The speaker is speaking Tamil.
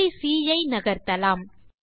புள்ளி சி ஐ நகர்த்தலாம்